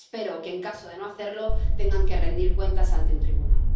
Espero que, en caso de no hacerlo, tengan que rendir cuentas ante un tribunal.